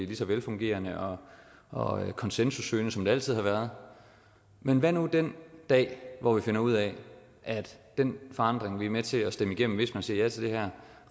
lige så velfungerende og og konsensussøgende som det altid har været med hvad nu den dag hvor vi finder ud af at den forandring vi er med til at stemme igennem hvis man siger ja til det her